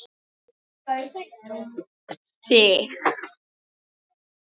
og Sig.